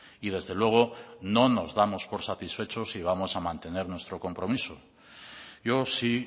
y desde luego no nos damos por satisfechos y vamos a mantener nuestro compromiso yo sí